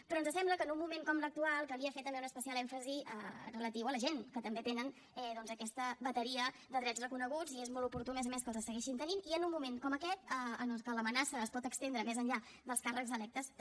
però ens sembla que en un moment com l’actual calia fer també un especial èmfasi relatiu a la gent que també tenen doncs aquesta bateria de drets reconeguts i és molt oportú a més a més que els segueixin tenint i en un moment com aquest en el que l’amenaça es pot estendre més enllà dels càrrecs electes també